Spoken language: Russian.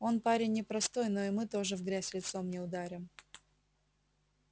он парень непростой но и мы тоже в грязь лицом не ударим